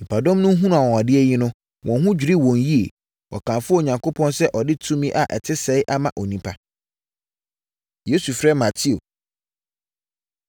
Nnipadɔm no hunuu anwanwadeɛ yi no, wɔn ho dwirii wɔn yie. Wɔkamfoo Onyankopɔn sɛ ɔde tumi a ɛte saa ama onipa! Yesu Frɛ Mateo